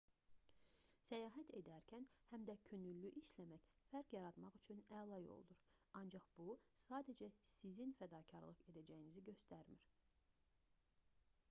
səyahət edərkən həm də könüllü işləmək fərq yaratmaq üçün əla yoldur ancaq bu sadəcə sizin fədakarlıq edəcəyinizi göstərmir